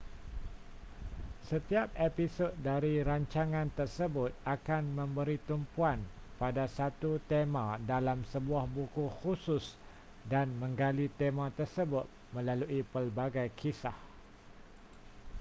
setiap episod dari rancangan tersebut akan memberi tumpuan pada satu tema dalam sebuah buku khusus dan menggali tema tersebut melalui pelbagai kisah